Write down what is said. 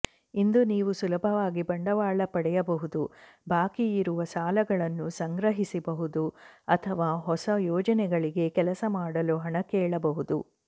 ಇಂದು ನೀವು ಸುಲಭವಾಗಿ ಬಂಡವಾಳ ಪಡೆಯಬಹುದು ಬಾಕಿಯಿರುವ ಸಾಲಗಳನ್ನು ಸಂಗ್ರಹಿಸಬಹುದು ಅಥವಾ ಹೊಸ ಯೋಜನೆಗಳಿಗೆ ಕೆಲಸ ಮಾಡಲು ಹಣ ಕೇಳಬಹುದು